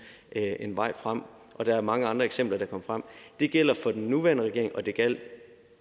en vej frem og der er mange andre eksempler der kan komme frem det gælder for den nuværende regering og det gjaldt